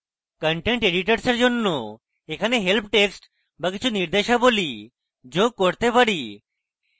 content editors we জন্য এখানে help text বা কিছু নির্দেশাবলী যোগ করতে পারি